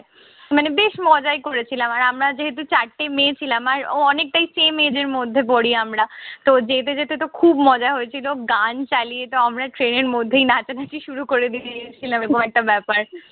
মানে বেশ মজাই করেছিলাম। আর আমরা যেহেতু চারটে মেয়ে ছিলাম। আর অনেকটাই সেই মেয়েদের মধ্যে পড়ি আমরা। তো যেতে যেতেতো খুব মজা হয়েছিল। গান চালিয়েতো আমরা ট্রেনের মধ্যে নাচানাচি শুরু করে দিয়েছিলাম। এইরকম একটা ব্যাপার।